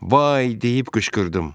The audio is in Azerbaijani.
“Vay” deyib qışqırdım.